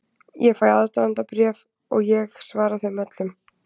Ég fæ aðdáendabréf og ég svara þeim öllum.